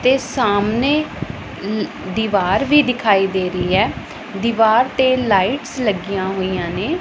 ਤੇ ਸਾਹਮਣੇ ਦੀਵਾਰ ਵੀ ਦਿਖਾਈ ਦੇ ਰਹੀ ਹੈ ਦੀਵਾਰ ਤੇ ਲਾਈਟਸ ਲੱਗੀਆਂ ਹੋਈਆਂ ਨੇ।